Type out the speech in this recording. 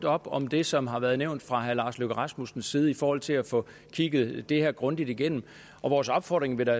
op om det som har været nævnt fra herre lars løkke rasmussens side i forhold til at få kigget det her grundigt igennem vores opfordring vil da